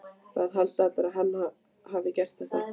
Það halda allir að hann hafi gert þetta.